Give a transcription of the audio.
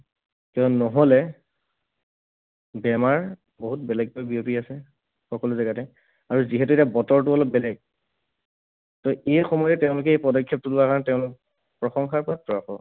নহলে বেমাৰ বহুত বেলেগকৈ বিয়পি আছে, সকলো জেগাতে। আৰু যিহেতু এতিয়া বতৰটো অলপ বেলেগ, ত' এই সময়ত তেওঁলোকে এই পদক্ষেপটো লোৱাৰ কাৰণে তেওঁলোক প্ৰশংসাৰ পাত্ৰ আকৌ।